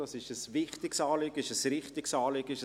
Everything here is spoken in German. Dies ist ein wichtiges und richtiges Anliegen.